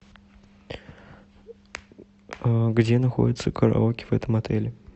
где находится караоке в этом отеле